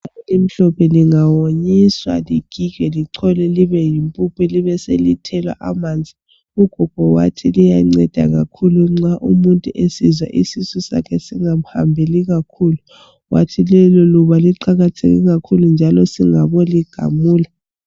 Iluba elimhlophe lingawonyiswa ligigwe licholwe libe yimpuphu libeselithelwa amanzi ugogo wathi liyanceda kakhulu nxa umuntu esizwa isisu sakhe singamhambeli kakhulu wathi leli luba liqakathekile kakhulu njalo singabo ligamula.